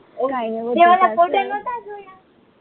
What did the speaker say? તે ઓલા ફોટા નાતા જોયા